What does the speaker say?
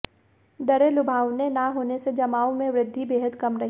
दरें लुभावनी न होने से जमाओं में वृद्घि बेहद कम रही